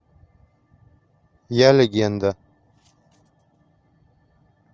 я легенда